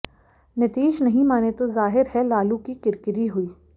नीतीश नहीं माने तो जाहिर है लालू की किरकिरी हुई